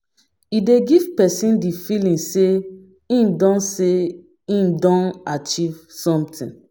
E dey give person di feeling sey im don achive something